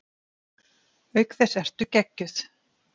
Auk þess ertu geggjuð!